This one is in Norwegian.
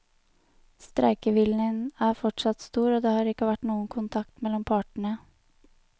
Streikeviljen er fortsatt stor, og det har ikke vært noen kontakt mellom partene.